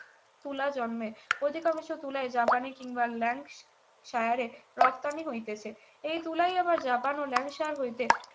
তুলা জন্মে অধিকাংশ তুলাই জাপানি কিংবা শহরে রপ্তানি করিতেছে এই তুলাই আবার জাপান ও শহরে হইতে